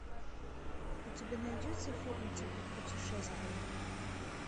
у тебя найдется фильм типа путешествие